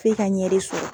F'e ka ɲɛ de sɔrɔ